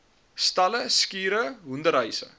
stalle skure hoenderhuise